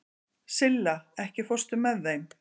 Silla, ekki fórstu með þeim?